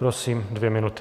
Prosím, dvě minuty.